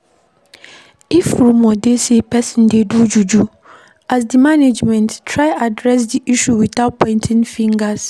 If rumor dey sey person dey do juju, as di management, try address di issue without pointing fingers